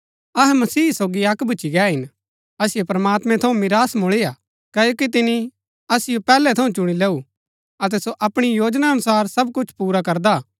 अहै मसीह सोगी अक्क भूच्ची गै हिन असिओ प्रमात्मैं थऊँ मिरास मूळी हा क्ओकि तिनी असिओ पैहलै थऊँ चुणी लैऊ अतै सो अपणी योजना अनुसार सब कुछ पुरा करदा हा